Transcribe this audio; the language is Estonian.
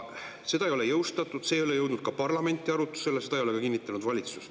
Seda ei ole jõustatud, see ei ole jõudnud parlamenti arutusele ja seda ei ole kinnitanud ka valitsus.